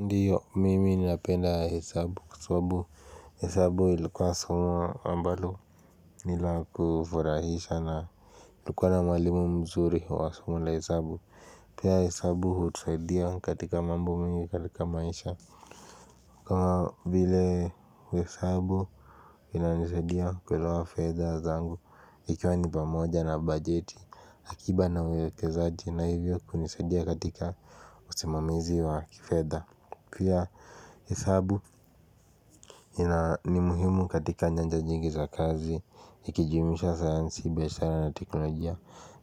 Ndio mimi ninapenda hesabu kwa sababu hesabu ilikuwa somo ambalo nila kufurahisha na kulikuwa na mwalimu mzuri wa somo la hesabu pia hesabu hutusaidia katika mambo mengi katika maisha kama vile hesabu inanisaidia kuelewa fedha zangu ikiwa ni pamoja na bajeti akiba na uwekezaji na hivyo kunisadia katika usimamizi wa kifedha pia hesabu ni muhimu katika nyanja nyingi za kazi ikijumuisha sayansi biashara na teknolojia